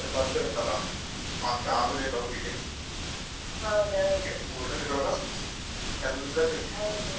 ನಿಜ್ವಾಗಿ ಅಲ್ಲಿ ಹೋಗಲೇಬೇಕು ಮತ್ತೆ ಈಚೆಯಲ್ಲಿ ಆದ್ರೂ ಕೆಲ್ಸ ಅಂತ ಬಂದ್ರೆ ಉಂಟಲ್ಲ ಮತ್ತೆ ಆಗುದೇ ಇಲ್ಲ ಹೋಗ್ಲಿಕ್ಕೆ.